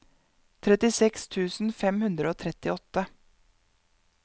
trettiseks tusen fem hundre og trettiåtte